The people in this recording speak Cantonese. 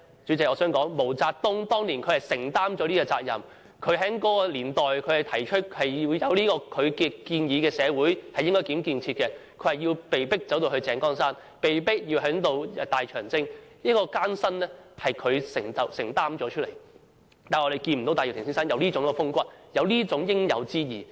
主席，我想說毛澤東當年是承擔了這個責任，他在那個年代提出應如何建設社會的建議，他被迫走到井崗山，被迫進行大長征，承擔了當中的艱辛，但我們看不見戴耀廷先生有這種風骨，有這種應有之義。